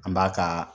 An b'a ka